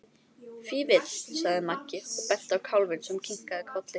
Fífill, sagði Maggi og benti á kálfinn sem kinkaði kolli.